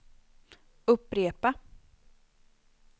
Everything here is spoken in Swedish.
upprepa